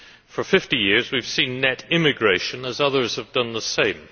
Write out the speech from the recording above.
For 50 years we have seen net immigration as others have done the same.